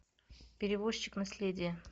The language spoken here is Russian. перевозчик наследие